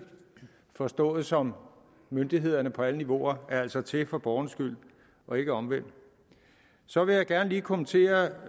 forstået som myndighederne på alle niveauer altså er til for borgernes skyld og ikke omvendt så vil jeg gerne lige kommentere